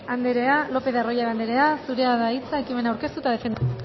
lopez de arroyabe andrea zurea da ekimena aurkeztu eta defendatzeko